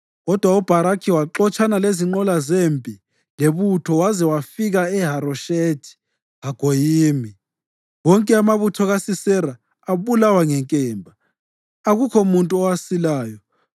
Kodwa uBharakhi waxotshana lezinqola zempi lebutho waze wafika eHaroshethi-Hagoyimi. Wonke amabutho kaSisera abulawa ngenkemba, akukho muntu owasilayo.